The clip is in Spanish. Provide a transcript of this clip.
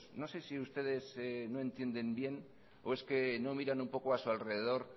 no sé si ustedes no entiendes bien o es que no miran un poco a su alrededor